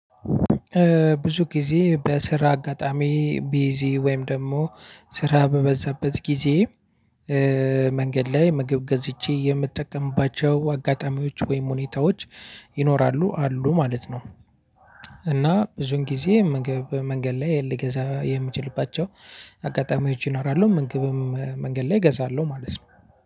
ብዙ ጊዜ በስራ አጋጣሚ ቢዚ ወይም ደግሞ ስራ በበዛበት ጊዜ መንገድ ላይ ምግብ ገዝቼ የምጠቀምባቸው አጋጣሚዎች ወይም ሁኔታዎች ይኖራሉ አሉ ማለት ነው። እና ብዙን ጊዜ መንገድ ላይ ልገዛ የምችልባቸው አጋጣሚዎች ይኖራሉ ምግብም መንገድ ላይ እገዛለሁ ማለት ነው።